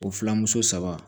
O fila muso saba